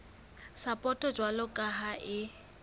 sapoto jwalo ka ha e